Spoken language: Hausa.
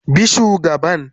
Bi shugaban